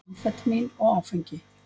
Amfetamín og áfengi.